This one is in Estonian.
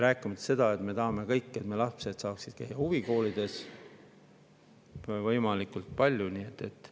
Rääkimata sellest, et me kõik tahame, et meie lapsed saaksid käia võimalikult palju huvikoolis.